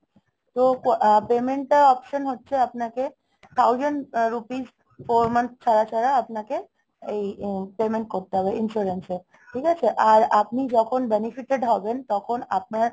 তো payment টা option হচ্ছে আপনাকে thousand rupees four month ছাড়া ছাড়া আপনাকে এই payment করতে হবে insurance এ, ঠিক আছে? আর আপনি যখন benefited হবেন তখন আপনার,